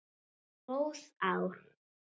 Góð ár.